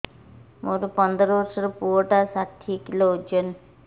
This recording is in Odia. ମୋର ପନ୍ଦର ଵର୍ଷର ପୁଅ ଟା ଷାଠିଏ କିଲୋ ଅଜନ